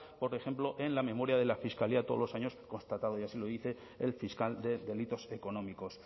por ejemplo en la memoria de la fiscalía todos los años constatado y así lo dice el fiscal de delitos económicos